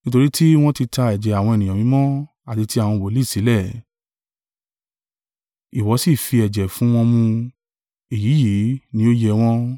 Nítorí tí wọ́n ti ta ẹ̀jẹ̀ àwọn ènìyàn mímọ́ àti ti àwọn wòlíì sílẹ̀, ìwọ sì fi ẹ̀jẹ̀ fún wọn mu; èyí yìí ní ó yẹ wọ́n.”